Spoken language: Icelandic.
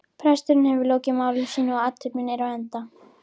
Presturinn hefur lokið máli sínu og athöfnin er á enda.